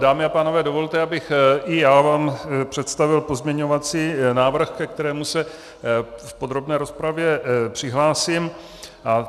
Dámy a pánové, dovolte, abych i já vám představil pozměňovací návrh, ke kterému se v podrobné rozpravě přihlásím.